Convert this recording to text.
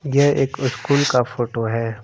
यह एक स्कूल का फोटो है।